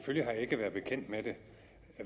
jeg ikke været bekendt med det